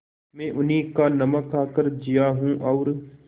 मैं उन्हीं का नमक खाकर जिया हूँ और